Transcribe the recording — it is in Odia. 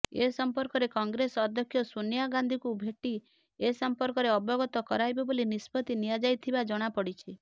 ଏ ସଂପର୍କରେ କଂଗ୍ରେସ ଅଧ୍ୟକ୍ଷା ସୋନିଆ ଗାନ୍ଧିଙ୍କୁ ଭେଟି ଏସମ୍ପର୍କରେ ଅବଗତ କରାଇବେ ବୋଲି ନିଷ୍ପତ୍ତି ନିଆଯାଇଥିବା ଜଣାପଡ଼ିଛି